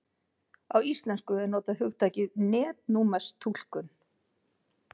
Á íslensku er notað hugtakið netnúmerstúlkun.